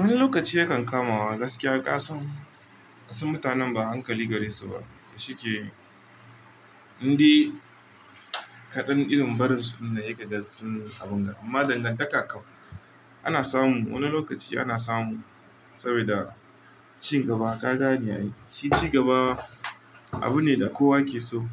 Wani lokaci yakan kamawa gaskiya ƙasan wasu mutanen ba hankali gare su ba, shike indi kaɗan irin barin su dinnan heka ga sun abunga. Amma dangantaka kau ana samu wani lokaci ana samu sabida cigaba ka gane ai, shi cigaba abu ne da kowa yake so.